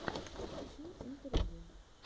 хочу интервью